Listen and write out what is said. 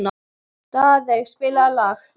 Daðey, spilaðu lag.